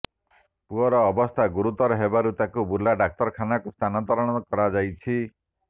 ପୁଅର ଅବସ୍ଥା ଗୁରୁତର ହେବାରୁ ତାକୁ ବୁର୍ଲା ଡାକ୍ତରଖାନା କୁ ସ୍ଥାନାନ୍ତର କରାଯାଇଛି